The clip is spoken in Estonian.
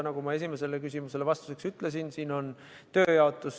Nagu ma esimesele küsimusele vastuseks ütlesin, on siin tööjaotus.